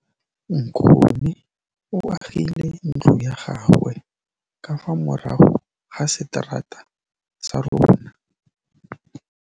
Nkgonne o agile ntlo ya gagwe ka fa morago ga seterata sa rona.